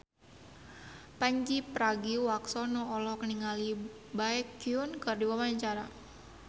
Pandji Pragiwaksono olohok ningali Baekhyun keur diwawancara